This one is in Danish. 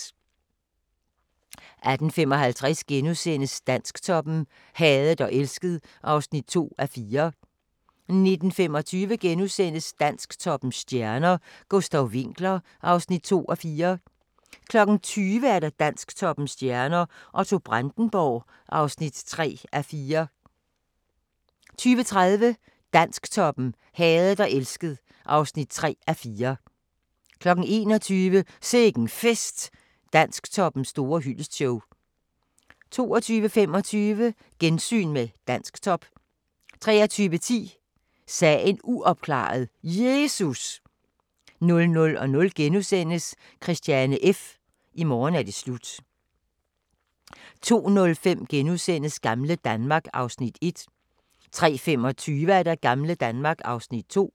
18:55: Dansktoppen: Hadet og elsket (2:4)* 19:25: Dansktoppens stjerner: Gustav Winckler (2:4)* 20:00: Dansktoppens stjerner: Otto Brandenburg (3:4) 20:30: Dansktoppen: Hadet og elsket (3:4) 21:00: Sikke'n Fest – Dansktoppens store hyldestshow 22:25: Gensyn med Dansktop 23:10: Sagen uopklaret – Jesus! 00:00: Christiane F. – i morgen er det slut * 02:05: Gamle Danmark (Afs. 1)* 03:25: Gamle Danmark (Afs. 2)